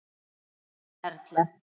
Ykkar Erla.